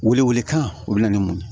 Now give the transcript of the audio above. Wele wele kan o bɛ na ni mun ye